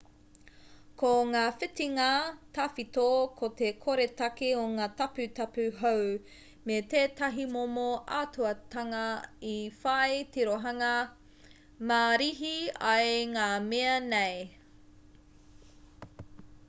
ko ngā whitinga tawhito ko te koretake o ngā taputapu hou me tētahi momo ātaahuatanga i whai tirohanga mārihi ai ngā mea nei